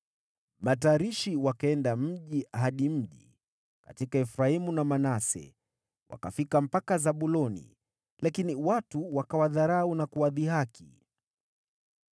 Matarishi wakaenda mji hadi mji katika Efraimu na Manase, wakafika mpaka Zabuloni, lakini watu wakawadharau na kuwadhihaki.